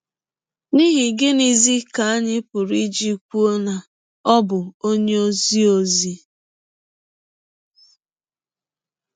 N’ihi gịnịzi ka anyị pụrụ iji kwụọ na ọ bụ ọnye ọzi ọzi?